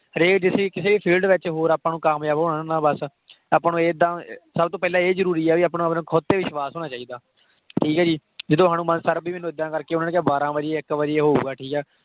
ਹਰੇਕ ਜਿਸ ਕਿਸੇ ਵੀ field ਵਿੱਚ ਹੋਰ ਆਪਾਂ ਨੂੰ ਕਾਮਯਾਬ ਹੋਣਾ ਬੱਸ ਆਪਾਂ ਨੂੰ ਏਦਾਂ ਸਭ ਤੋਂ ਪਹਿਲਾਂ ਇਹ ਜ਼ਰੂਰੀ ਆ ਵੀ ਆਪਣਾ ਆਪਣੇ ਖੁਦ ਤੇ ਵਿਸ਼ਵਾਸ ਹੋਣਾ ਚਾਹੀਦਾ ਠੀਕ ਹੈ ਜੀ ਜਦੋਂ ਹਨੂੰਮਾਨ sir ਵੀ ਮੈਨੂੰ ਏਦਾਂ ਕਰਕੇ ਉਹਨਾਂ ਨੇ ਕਿਹਾ ਬਾਰਾਂ ਵਜੇ ਇੱਕ ਵਜੇ ਹੋਊਗਾ ਠੀਕ ਹੈ